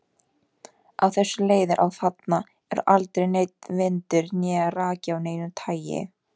Af þessu leiðir að þarna er aldrei neinn vindur né raki af neinu tagi.